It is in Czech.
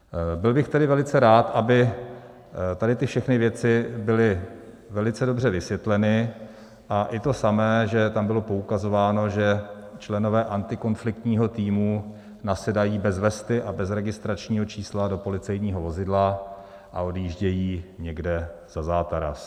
Byl bych tedy velice rád, aby tady ty všechny věci byly velice dobře vysvětleny, a i to samé, že tam bylo poukazováno, že členové antikonfliktního týmu nasedají bez vesty a bez registračního čísla do policejního vozidla a odjíždějí někde za zátaras.